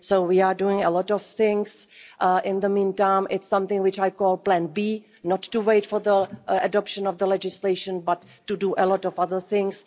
So we are doing a lot of things in the meantime. It's something which I call Plan B not to wait for the adoption of the legislation, but to do a lot of other things.